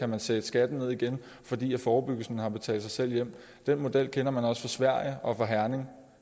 man sætte skatten ned igen fordi forebyggelsen har betalt sig selv hjem den model kender man også fra sverige og fra herning